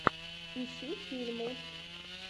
ищи фильмы